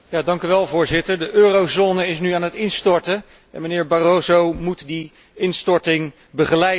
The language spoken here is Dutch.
Voorzitter, de eurozone is nu aan het instorten, en meneer Barroso moet die instorting begeleiden.